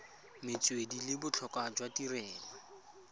metswedi le botlhokwa jwa tirelo